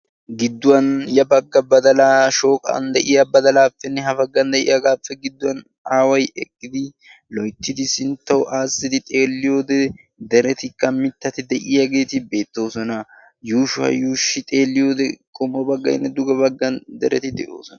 gidduwan ya bagga badalaapemnne ha bagga badalaape gidduwan aaway eqqidi loytidi sintawu xeeliyode deretikka beetoosona, yuushuwa xeliyode dereti de'oosona.